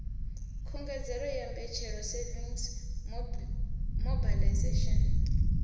khungedzelo ya mbetshelo savings mobilization